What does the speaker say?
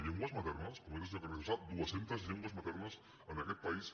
llengües maternes com ha dit el senyor carrizosa dues centes llengües maternes en aquest país